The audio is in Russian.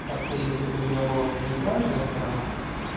так-то если бы у тебя была бы нейтральная сторона